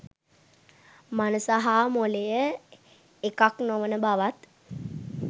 මනස හා මොළය එකක් නොවන බවත්